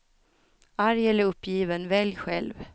Arg eller uppgiven, välj själv.